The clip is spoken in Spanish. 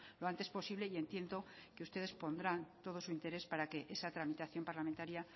lo antes posible y entiendo que ustedes pondrán todo su interés para que esa tramitación parlamentaria